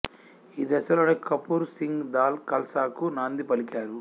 ఈ దశలోనే కపూర్ సింగ్ దాల్ ఖల్సాకు నాంది పలికారు